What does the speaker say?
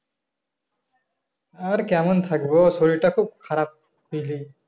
আর কেমন থাকব শরীর টা খুব খারাপ বুঝলি